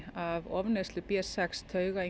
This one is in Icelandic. af ofneyslu b sex